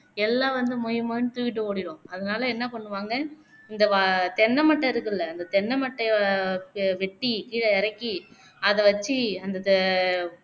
எல்லாம் வந்து மொய் மொய்ன்னு தூக்கிட்டு ஓடிடும் அதனாலே என்ன பண்ணுவாங்க இந்த வ தென்னை மட்டை இருக்குல்ல இந்த தென்னை மட்டைய வ வெட்டி கீழே இறக்கி அத வச்சு அந்த த